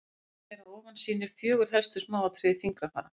myndin hér fyrir ofan sýnir fjögur helstu smáatriði fingrafara